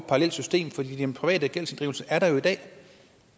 parallelt system for den private gældsinddrivelse er der jo i dag